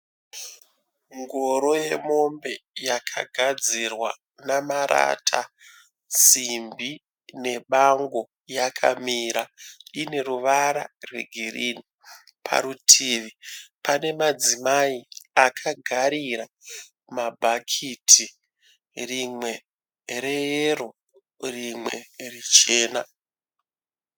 Ngoro yemombe yakagadzirwa namarata, simbi nebango yakamira. Ine ruvara rwegirini. Parutivi pane madzimai akagarira mabhakiti, rimwe reyero rimwe richena.